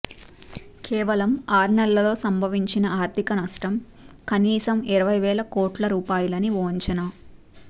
కేవలం ఆర్నెల్లలో సంభవించిన ఆర్థికనష్టం కనీసం ఇరవైవేల కోట్ల రూపాయలని ఓ అంచనా